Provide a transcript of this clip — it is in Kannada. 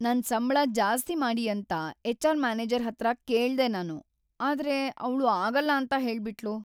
ನನ್ ಸಂಬ್ಳ ಜಾಸ್ತಿ ಮಾಡಿ ಅಂತ ಎಚ್.ಆರ್. ಮ್ಯಾನೇಜರ್ ಹತ್ರ ಕೇಳ್ದೆ ನಾನು, ಆದ್ರೆ ಅವ್ಳು ಆಗಲ್ಲ ಅಂತ ಹೇಳ್ಬಿಟ್ಳು.